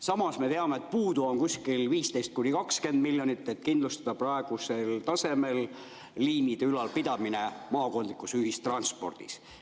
Samas me teame, et puudu on kuskil 15–20 miljonit, et kindlustada praegusel tasemel liinide ülalpidamine maakondlikus ühistranspordis.